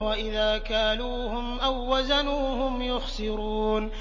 وَإِذَا كَالُوهُمْ أَو وَّزَنُوهُمْ يُخْسِرُونَ